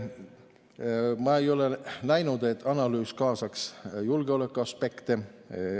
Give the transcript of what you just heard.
Ma ei ole näinud, et analüüs kaasaks julgeolekuaspekte.